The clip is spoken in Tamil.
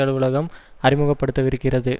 அலுவலகம் அறிமுகப்படுத்தவிருக்கிறது